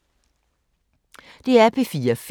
DR P4 Fælles